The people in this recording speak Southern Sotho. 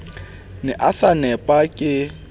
ne a sa nepa ke